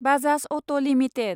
Bajaj auto limited